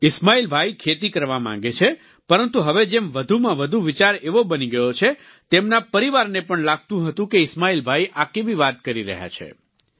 ઈસ્માઈલભાઈ ખેતી કરવા માંગે છે પરંતુ હવે જેમ વધુમાં વધુ વિચાર એવો બની ગયો છે તેમના પરિવારને પણ લાગતું હતું કે ઈસ્માઈલભાઈ આ કેવી વાત કરી રહ્યા છે